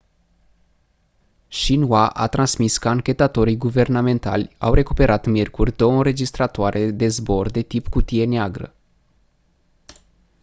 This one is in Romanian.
xinhua a transmis că anchetatorii guvernamentali au recuperat miercuri două înregistratoare de zbor de tip cutie neagră